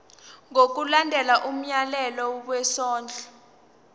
ngokulandela umyalelo wesondlo